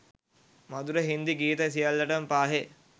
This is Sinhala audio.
මධුර හින්දි ගීත සියල්ලටම පාහේ